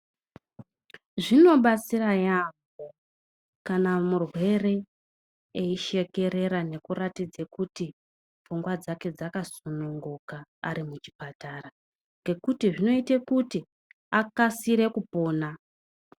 Zvinobatsira yaamho kana murwere eishekerera nekuratidza kuti pfungwa dzake dzakasununguka ari muchipatara nge kuti zvinoita akasike kupona.